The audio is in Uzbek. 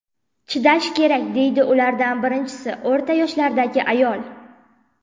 Chidash kerak”, deydi ulardan birinchisi, o‘rta yoshlardagi ayol.